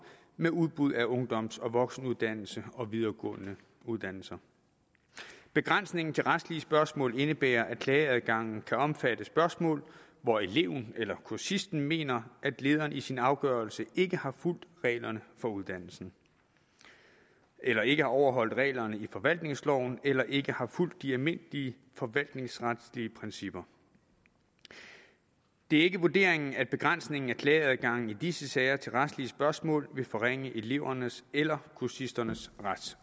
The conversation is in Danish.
med udbud af ungdoms og voksenuddannelser og videregående uddannelser begrænsningen til retlige spørgsmål indebærer at klageadgangen kan omfatte spørgsmål hvor eleven eller kursisten mener at lederen i sin afgørelse ikke har fulgt reglerne for uddannelsen eller ikke har overholdt reglerne i forvaltningsloven eller ikke har fulgt de almindelige forvaltningsretlige principper det er ikke vurderingen at begrænsningen af klageadgangen i disse sager til retlige spørgsmål vil forringe elevernes eller kursisternes